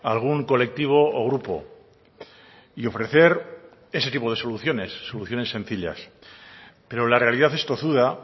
a algún colectivo o grupo y ofrecer ese tipo de soluciones soluciones sencillas pero la realidad es tozuda